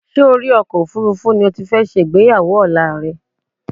Ṣé orí ọkọ̀ òfuurufú ni o ti fẹ́ ṣe ìgbéyàwó ọ̀la rẹ?